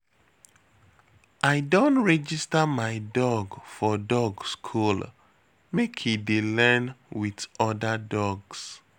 I don register my dog for dog school, make e dey learn wit oda dogs.